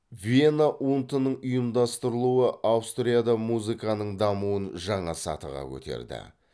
вена ун тінің ұйымдастырылуы аустрияда музаканың дамуын жаңа сатыға көтерді